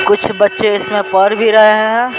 कुछ बच्चे इसमें पढ़ भी रहे हैं।